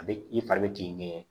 A bɛ i fari bɛ t'i ŋɛɲɛ